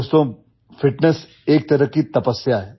दोस्तों फिटनेस एक तरह की तपस्या हैं